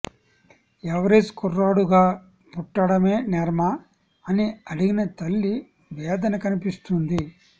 average కుర్రాడుగా పుట్టడమే నేరమా అని అడిగిన తల్లి వేదన కనిపిస్తుంది